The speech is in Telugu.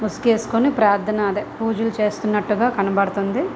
మాస్క్ వేసుకొని ప్రార్థన అదే పూజలు చేస్తున్నట్టుగా కనబడుతుంది.